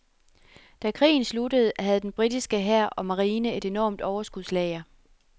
Da krigen sluttede, havde den britiske hær og marine et enormt overskudslager.